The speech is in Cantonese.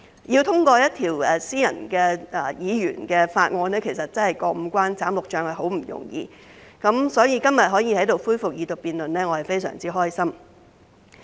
要通過一項私人或議員法案，真的要過五關斬六將，殊不容易，所以今天可以在這裏恢復二讀辯論，我感到非常開心。